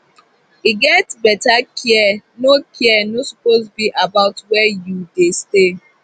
to get beta care no care no suppose be about were u dey stay